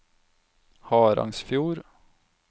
Harangsfjord